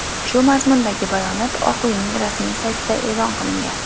Shu mazmundagi bayonot Oq uyning rasmiy saytida e’lon qilingan .